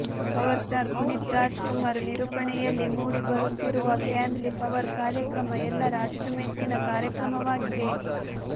power star Puneeth Raj Kumar ನಿರೂಪಣೆಯಲ್ಲಿ ಮೂಡಿ ಬರುತ್ತಿರುವ ಫ್ಯಾಮಿಲಿ ಪವರ್ ಕಾರ್ಯಕ್ರಮ ಎಲ್ಲರ ಅಚ್ಚು ಮೆಚ್ಚಿನ ಕಾರ್ಯಕ್ರಮವಾಗಿದೆ